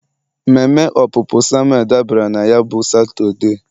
mmeme opupu Samuel dabara na ya bụ Satọde.